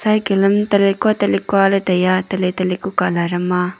tele kua tele kua tai a tele tele ku color am a.